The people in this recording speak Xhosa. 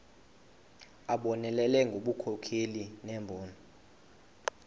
abonelele ngobunkokheli nembono